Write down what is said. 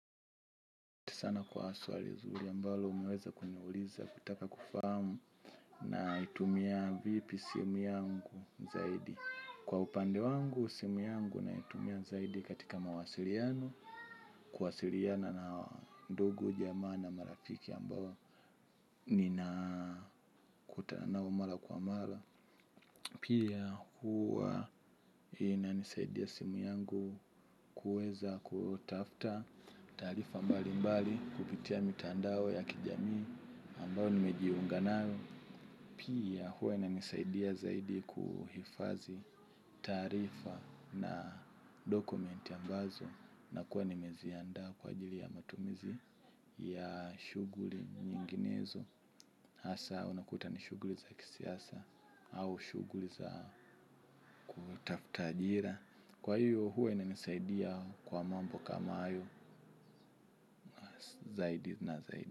Sana kwa swali zuri ambalo umeweza kuniuliza kutaka kufamu naitumia vipi simu yangu zaidi. Kwa upande wangu simu yangu n itumia zaidi katika mawasiliano, kuwasiliana na ndugu jamaa na marafiki ambao nina kutana nao mara kwa mara. Pia huwa ina nisaidia simu yangu kueza kutafta taarifa mbali mbali kupitia mitandao ya kijamii ambayo nimejiunga nayo. Pia huwa ina nisaidia zaidi kuhifadhi taarifa na document ambazo na kuwa nimeziandaa kwa ajili ya matumizi ya shughuli nyinginezo. Hasa unakuta ni shughuli za kisiasa. Au shughuli za kutafuta ajira. Kwa hiyo huwa inanisaidia kwa mambo kama hayo. Zaidi na zaidi.